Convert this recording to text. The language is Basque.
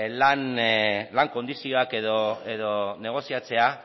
lan kondizioak edo negoziatzea